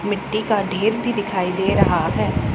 मिट्टी का ढेर भी दिखाई दे रहा है।